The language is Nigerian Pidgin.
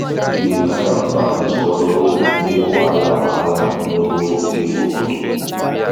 we dey tie our bag with colour rope make wahala wahala no for dey for motor